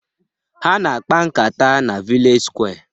Ha na akpa-nkata na vilej sụkwé